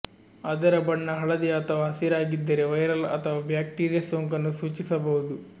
ಅದರ ಬಣ್ಣ ಹಳದಿ ಅಥವಾ ಹಸಿರಾಗಿದ್ದರೆ ವೈರಲ್ ಅಥವಾ ಬ್ಯಾಕ್ಟೀರಿಯಾ ಸೋಂಕನ್ನು ಸೂಚಿಸಬಹುದು